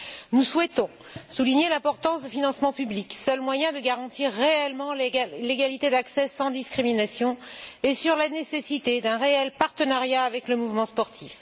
Nous souhaitons souligner l'importance des financements publics, seul moyen de garantir réellement l'égalité d'accès sans discrimination, et la nécessité d'un réel partenariat avec le mouvement sportif.